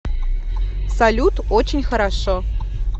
салют очень хорошо